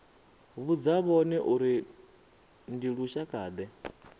vhudza vhone uri ndi lushakade